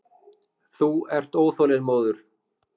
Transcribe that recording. Þú ert óþolinmóður.